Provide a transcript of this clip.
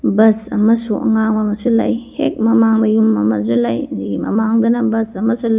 ꯕꯨꯁ ꯑꯃꯁꯨ ꯑꯉꯥꯡꯕ ꯑꯃꯁꯨ ꯂꯩ ꯍꯦꯛ ꯃꯃꯡꯗ ꯌꯨꯝ ꯑꯃꯁꯨ ꯂꯩ ꯑꯗꯨꯒꯤ ꯃꯃꯡꯗꯅ ꯕꯨꯁ ꯑꯃꯁꯨ ꯂꯩ꯫